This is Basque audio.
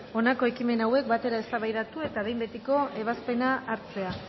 honako ekimen hauek batera eztabaidatu eta behin betiko ebazpena hartzea